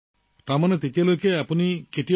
সেই সময়ত ড্ৰোনৰ কথা কেতিয়াবা শুনিছিল নে